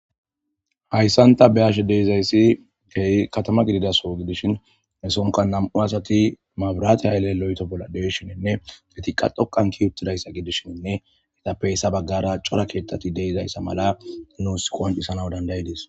hayssan ta be7ashe de7izayssi kehi katama gidida soho gidishin he sohonka nam7u asati mabirate hayle loyito bolla de7ishininne etiqa dhoqan ke7i uttidayssa gidishinne itappeyssa baggara cora keettati deizayssa mala nuus qoncisanaw dandayides